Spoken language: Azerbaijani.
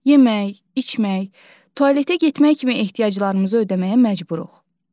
Yemək, içmək, tualetə getmək kimi ehtiyaclarımızı ödəməyə məcburuq.